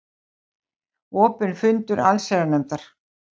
Opinn fundur allsherjarnefndar